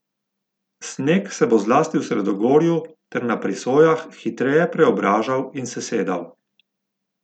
Sneg se bo zlasti v sredogorju ter na prisojah hitreje preobražal in sesedal.